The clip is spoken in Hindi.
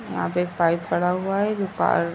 यहाँ पे एक पाइप पड़ा हुआ है जो कार --